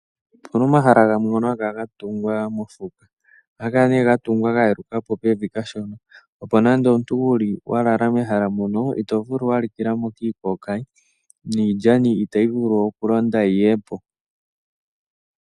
Opuna omahala gamwe ngoka haga kala gatungwa moshiheke. Oyaga kala gatungwa pombanda kashona, opo nande omuntu wuli mehala mono iikokayi oshowo iilyani itayi vulu okukonda yi yepo.